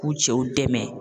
K'u cɛw dɛmɛ